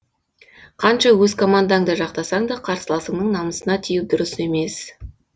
қанша өз командаңды жақтасаң да қарсыласыңның намысына тию дұрыс емес